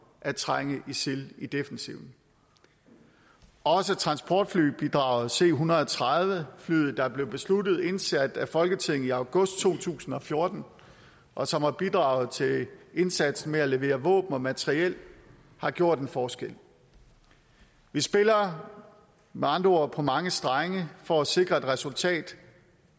at trænge isil i defensiven også transportflybidraget c en hundrede og tredive flyet der blev besluttet indsat af folketinget i august to tusind og fjorten og som har bidraget til indsatsen med at levere våben og materiel har gjort en forskel vi spiller med andre ord på mange strenge for at sikre et resultat